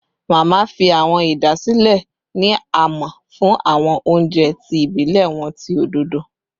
Mama fi awọn idasile ni a mọ fun awọn ounjẹ ti ibilẹ wọn ti ododo